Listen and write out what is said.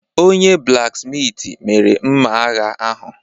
Onye-blaksmitị mere mma agha ahụ.